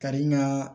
Ka di n ka